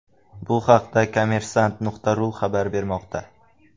Bu haqda Kommersant.ru xabar bermoqda .